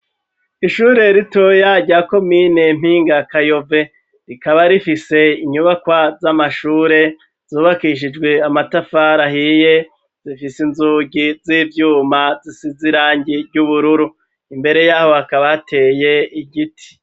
Ishure ritoya jyako mine mpinga kayove rikaba rifise inyubakwa z'amashure zubakishijwe amatafari ahiye zifise inzugi z'ivyuma zisize irangi ry'ubururu imbere y'aho bakaba ateye igiti.